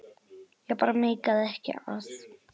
Ég bara meikaði ekki að.